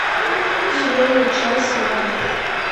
зеленый чай с мятой